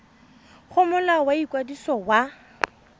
go molao wa ikwadiso wa